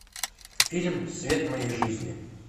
фильм свет моей жизни